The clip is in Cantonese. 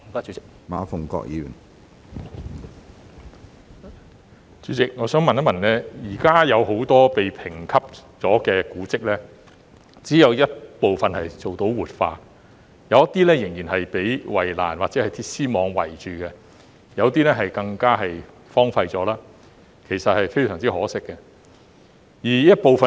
主席，現時只有部分已獲評級的古蹟做到活化，其餘仍然被圍欄或鐵絲網圍着，有些更已荒廢，其實非常可惜。